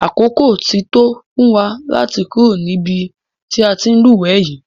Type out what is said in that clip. Àkókò ti tó fún wa láti kúrò nínú ibi tí a ti ń lúwẹ̀ẹ́ yìí.